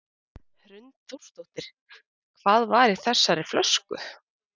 Hrund Þórsdóttir: Hvað var í þessari flösku?